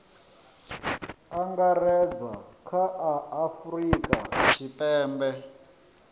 angaredza kha a afurika tshipembe